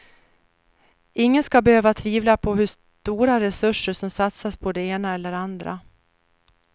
Ingen ska behöva tvivla på hur stora resurser som satsas på det ena eller andra.